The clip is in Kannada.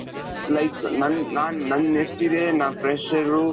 like ನನ್ ನಾನು ನನ್ನೆಷ್ಟಿದೆ ನಾನು fresher,